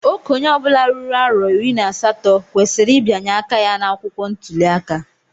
Okenye obula ruru arọ iri na asatọ kwesịrị ịbianye aka ya na akwụkwọ ntuli aka.